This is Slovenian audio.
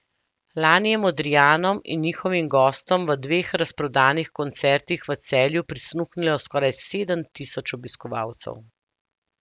Lani je Modrijanom in njihovim gostom v dveh razprodanih koncertih v Celju prisluhnilo skoraj sedem tisoč obiskovalcev.